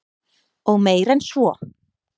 Og meir en svo.